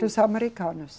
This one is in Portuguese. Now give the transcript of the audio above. Dos americanos.